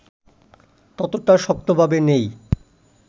ততটা শক্তভাবে নেই